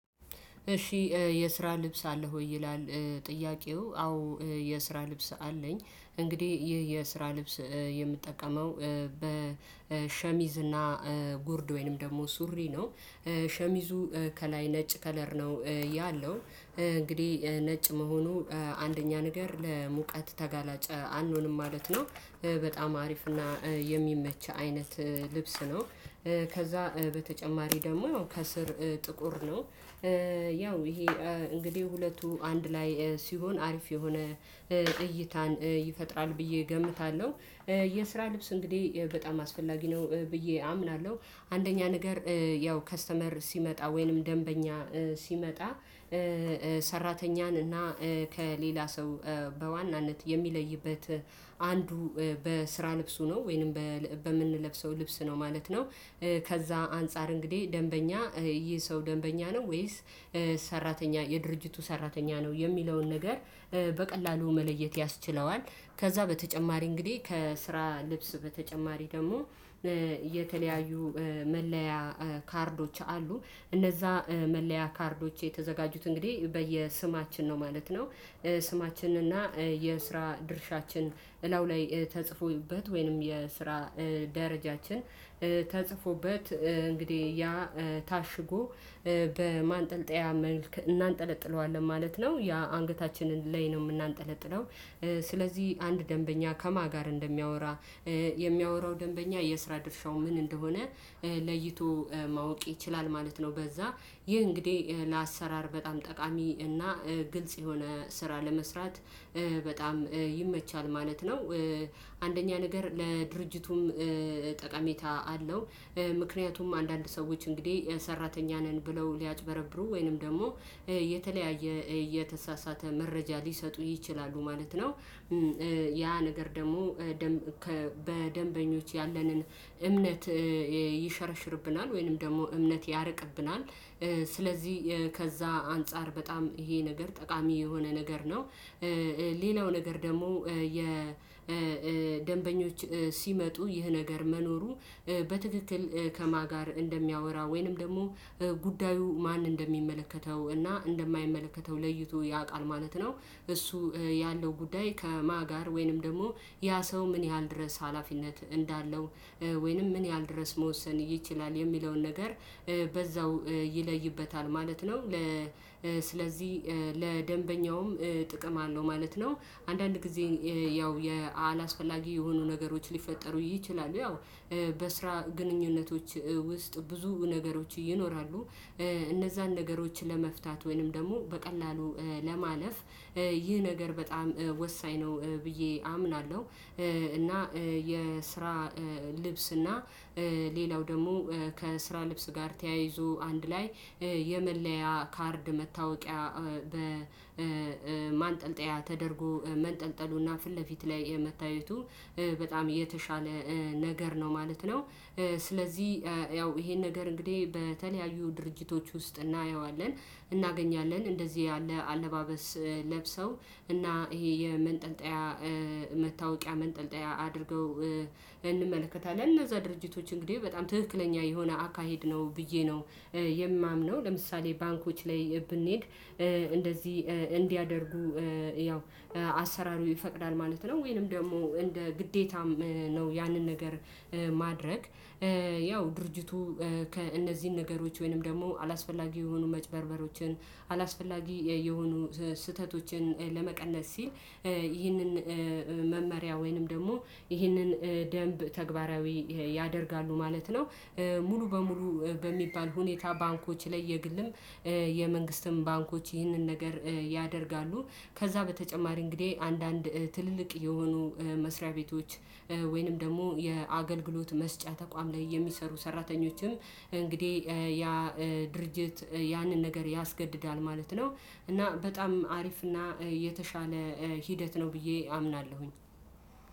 እሺ የስራ ልብስ አለ ወይ ይላል? ጥያቄው አዎ የስራ ልብስ አለኝ። እንግዲህ ይህ የስራ ልብስ የምጠቀመው በሸሚዝ እና ጎርድ ወይንም ደግሞ ሱሪ ነው ሸሚዙ ከላይ ነጭ ከለር ነው ያለው እንግዲህ ነጭ መሆኑ አንደኛ ነገር ለሙቀት ተጋላጨ አንሆንም ማለት ነው። በጣም አሪፍ እና የሚመች አይነት ልብስ ነው። ከዛ በተጨማሪ ደግሞ ያው ከስር ጥቁር ነው። ያው ይሄ እንግዲህ ሁለቱ አንድ ላይ ሲሆን አሪፍ የሆነ እይታን ይፈጥራል ብዬ እገምታለሁ። የስራ ልብስ እንግዲህ በጣም አስፈላጊ ነው ብዬ አምናለሁ። አንደኛ ነገር ያው ከስተመር ሲመጣ ወይንም ደንበኛ ሲመጣ ሰራተኛን እና ከሌላ ሰው በዋናነት የሚለይበት አንዱ በስራ ልብሱ ነው ወይንም በምንለብሰው ልብስ ነው ማለት ነው። ከዛ አንፃር እንግዲህ ደንበኛ ይህ ሰው ደንበኛ ነው ወይስ ሰራተኛ የድርጅቱ ሰራተኛ ነው የሚለውን ነገር በቀላሉ መለየት ያስችለዋል። ከዛ በተጨማሪ እንግዲህ ከስራ ልብስ በተጨማሪ ደግሞ የተለያዩ መለያ ካርዶች አሉ እነዛ መለያ ካርዶች የተዘጋጁት እንግዲህ በየስማችን ነው ማለት ነው። ስማችን እና የስራ ድርሻችን እላው ላይ ተጽፎበት ወይንም የስራ ደረጃችን ተጽፎበት እንግዲህ ያ ታሽጎ በማንጠልጠያ መልኩ እናንጠለጥለዋለን ማለት ነው ያ አንገታችንን ላይ ነው የምናንጠለጥለው። ስለዚህ አንድ ደንበኛ ከማን ጋር እንደሚያወራ የሚያወራው ደንበኛ የስራ ድርሻው ምን እንደሆነ ለይቶ ማወቅ ይችላል ማለት ነው። በዛ ይህ እንግዲህ ለአሰራር በጣም ጠቃሚ እና ግልጽ የሆነ ስራ ለመስራት በጣም ይመቻል ማለት ነው። አንደኛ ነገር ለድርጅቱም ጠቃሚታ አለው ምክንያቱም አንዳንድ ሰዎች እንግዲህ ሰራተኛ ነን ብለው ሊያጭበረብሩ ወይንም ደግሞ የተለያየ የተሳሳተ መረጃ ሊሰጡ ይችላሉ ማለት ነው። ያ ነገር ደግሞ በደንበኞች ያለንን እምነት ይሸረሽርብናል ወይንም ደግሞ እምነት ያርቅብናል። ስለዚህ ከዛ አንፃር በጣም ይሄ ነገር ጠቃሚ የሆነ ነገር ነው። ሌላው ነገር ደግሞ የ የደንበኞች ሲመጡ ይህ ነገር መኖሩ በትክክል ከማ ጋር እንደሚያወራ ወይንም ደግሞ ጉዳዩ ማን እንደሚመለከተው እና እንደማይመለከተው ለይቶ ያውቃል ማለት ነው። እሱ ያለው ጉዳይ ከማ ጋር ወይንም ደግሞ ያ ሰው ምን ያህል ድረስ ሀላፊነት እንዳለው ወይንም ምን ያህል ድረስ መወሰን ይችላል የሚለውን ነገር በዛው ይለይበታል ማለት ነው። ስለዚህ ለደንበኛውም ጥቅም አለው ማለት ነው። አንዳንድ ጊዜ ያው የአላስፈላጊ የሆኑ ነገሮች ሊፈጠሩ ይችላሉ ያው በስራ ግንኙነቶች ውስጥ ብዙ ነገሮች ይኖራሉ። እነዛን ነገሮች ለመፍታት ወይንም ደግሞ በቀላሉ ለማለፍ ይህ ነገር በጣም ወሳኝ ነው ብዬ አምናለሁ። እና የስራ ልብስ እና ሌላው ደግሞ ከስራ ልብስ ጋር ተያይዞ አንድ ላይ የመለያ ካርድ መታወቂያ በማንጠልጠያ ተደርጎ መንጠልጠሉና ፊት ለፊት ላይ የመታየቱ በጣም የተሻለ ነገር ነው ማለት ነው። ስለዚህ ያው ይሄን ነገር እንግዲህ በተለያዩ ድርጅቶች ውስጥ እናየዋለን እናገኛለን እንደዚህ ያለ አለባበስ ለብሰው እና ይሄ የመንጠልጠያ መታወቂያ መንጠልጠያ አድርገው እንመለከታለን እነዛ ድርጅቶች እንግዲህ በጣም ትክክለኛ የሆነ አካሄድ ነው ብዬ ነው። የማምነው ለምሳሌ ባንኮች ላይ ብንሄድ እንደዚህ እንዲያደርጉ ያው አሰራሩ ይፈቅዳል ማለት ነው። ወይንም ደግሞ እንደ ግዴታም ነው ያንን ነገር ማድረግ ያው ድርጅቱ ከእነዚህን ነገሮች ወይንም ደግሞ አላስፈላጊ የሆኑ መጭበርበሮችን አላስፈላጊ የሆኑ ስህተቶችን ለመቀነስ ሲል ይህንን መመሪያ ወይንም ደግሞ ይህንን ደንብ ተግባራዊ ያደርጋሉ ማለት ነው። ሙሉ በሙሉ በሚባል ሁኔታ ባንኮች ላይ የግልም የመንግስትም ባንኮች ይህንን ነገር ያደርጋሉ። ከዛ በተጨማሪ እንግዲህ አንዳንድ ትልልቅ የሆኑ መስሪያ ቤቶች ወይንም ደግሞ የአገልግሎት መስጫ ተቋም ላይ የሚሰሩ ሰራተኞችም እንግዲህ ያ ድርጅት ያንን ነገር ያስገድዳል ማለት ነው። እና በጣም አሪፍ እና የተሻለ ሂደት ነው ብዬ አምናለሁኝ